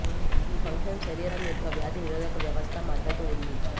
ఈ ఫంక్షన్ శరీరం యొక్క వ్యాధి నిరోధక వ్యవస్థ మద్దతు ఉంది